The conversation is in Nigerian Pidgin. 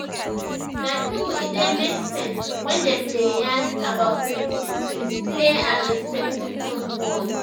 na true e dey make sense when dem dey yarn about treatment with clear and respectful words